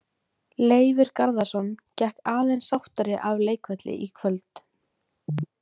Leifur Garðarsson gekk aðeins sáttari af leikvelli í kvöld.